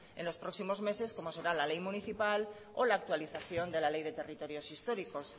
en los próximos meses como serán la ley municipal o la actualización de la ley de territorios históricos